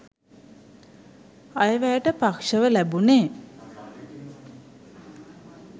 අයවැයට පක්ෂව ලැබුණේ